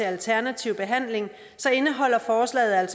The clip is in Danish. alternativ behandling så indeholder forslaget